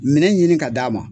Minɛn ɲini ka d'a ma